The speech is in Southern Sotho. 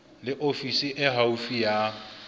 le ofisi e haufi ya